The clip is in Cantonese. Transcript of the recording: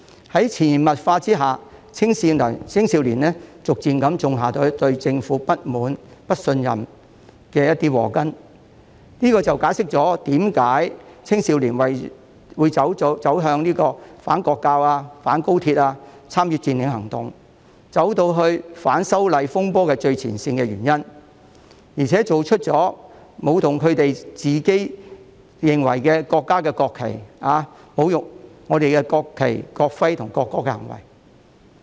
在潛移默化之下，逐漸種下了青少年對政府不滿、不信任的禍根，這便解釋了為何青少年會參與反國教、反高鐵和佔領行動，以及在反修例風波中走在最前線，並且作出舞動他們認為自己所屬國家的國旗，以及侮辱中國國旗、國徽和國歌的行為。